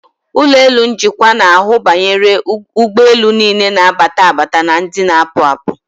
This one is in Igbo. Ụlọelu njikwa na-ahụ banyere ụgbọelu niile na-abata abata na ndị na-apụ apụ.